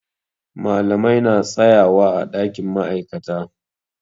Malamai na tsayawa ã dakin ma'aikata.